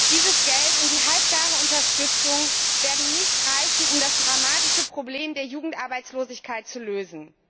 Dieses Geld und die halbgare Unterstützung werden nicht reichen, um das dramatische Problem der Jugendarbeitslosigkeit zu lösen.